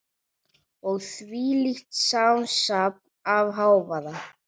Og þvílíkt samsafn af hávaða.